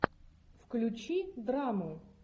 включи драму